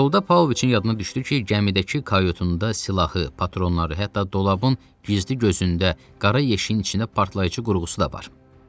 Yolda Pavloviçin yadına düşdü ki, gəmidəki kayutunda silahı, patronları, hətta dolabın gizli gözündə qara yeşiyin içində partlayıcı qurğusu da var.